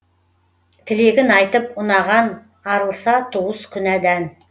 тілегін айтып ұнаған арылса туыс күнәдан